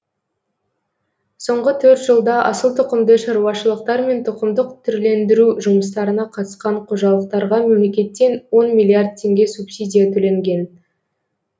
соңғы төрт жылда асыл тұқымды шаруашылықтар мен тұқымдық түрлендіру жұмыстарына қатысқан қожалықтарға мемлекеттен он миллиард теңге субсидия төленген